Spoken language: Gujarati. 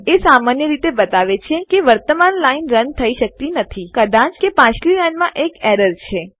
એ સામાન્ય રીતે બતાવે છે કે વર્તમાન લાઈન રન થઇ શકતી નથી કદાચ કારણકે પાછલી લાઈનમાં એક એરર છે